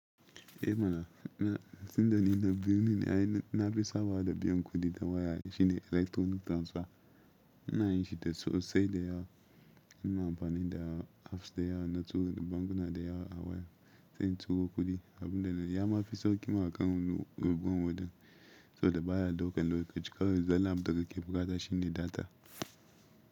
Eh mana, tun da ni na birni ne ai na fi sabawa da biyan kuɗi ta waya shine electronic transfer. Ina yin shi da sosai da yawa, ina amfani da apps da yawa na turo da bankuna da yawa a waya, sai in turo kuɗi. Abun da na, ya ma fi sauƙi ma akan wani ruwan wuta, saboda baya ɗaukan lokaci kawai zallan abun da kake buƙata shine detail.